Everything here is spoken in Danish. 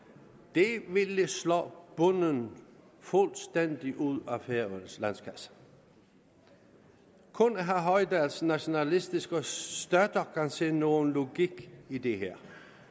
det ville slå bunden fuldstændig ud af færøernes landskasse kun herre hoydals nationalistiske støtter kan se nogen logik i det her